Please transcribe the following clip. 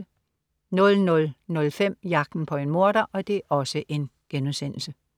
00.05 Jagten på en morder*